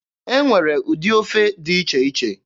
E nwere ụdị ofe dị iche iche.